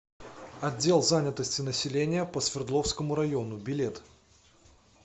отдел занятости населения по свердловскому району билет